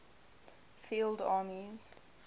field armies